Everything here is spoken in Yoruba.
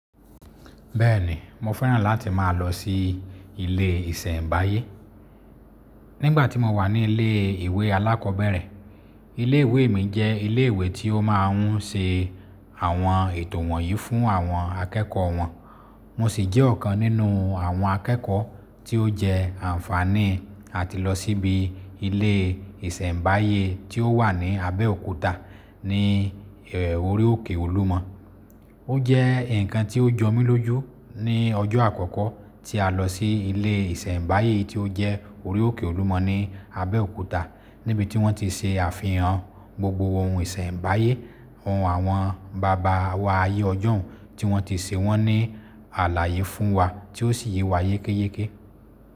Bẹ́ẹ̀ni, mo fẹ́ràn láti máa lọ sí ilé ìsẹ̀mbáyé. Nígbà tí mo wà ní ilé ìwé alákọ̀bẹ̀rẹ̀, ilé ìwé mi jẹ́ ilé ìwé tí ó máa ń ṣe àwọn ètò wọ̀nyí fún àwọn akẹ́kọ̀ọ́ wọn. Mo sì jẹ́ ọ̀kan nínú àwọn akẹ́kọ̀ọ́ tí ó jẹ àǹfààní àti lọ síbi ilé ìsẹ̀mbáyé tí ó wà ní Abẹ́òkúta ní Ori òkè Olúmọ. Ó jẹ́ ǹkan tí ó jọ mí lójú ní ọjọ́ àkọ́kọ́ tí a lọ sí ilé ìsẹ̀mbáyé tí ó jẹ́ Ori òkè Olúmọ ní Abẹ́òkúta níbi tí wọ́n ti ṣe àfihàn gbogbo ohun ìsẹ̀mbáyé, ohun àwọn bàbá wa ayé ọjọ́ún tí wọ́n ti ṣe wọ́n ní àlàyé fún wa tí ó sì yé wa yékéyéké.